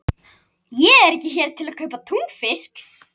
Ég er ekki hér til að kaupa túnfisk.